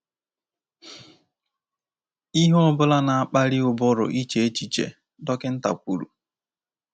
“Ihe ọ bụla na-akpali ụbụrụ iche echiche,” dọkịnta kwuru.